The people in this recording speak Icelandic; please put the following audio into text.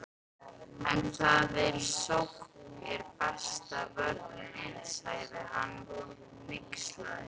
En þar eð sókn er besta vörnin, sagði hann hneykslaður